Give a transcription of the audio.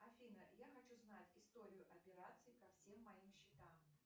афина я хочу знать историю операций ко всем моим счетам